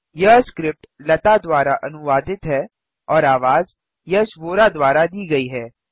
यह स्क्रिप्ट लता द्वारा अनुवादित है और आवाज यश वोरा द्वारा दी गई है